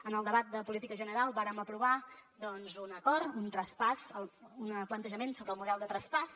en el debat de política general vàrem aprovar doncs un acord un traspàs un plantejament sobre el model de traspàs